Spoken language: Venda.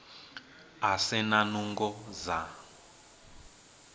a si na nungo dza